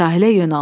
Sahilə yönəldi.